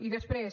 i després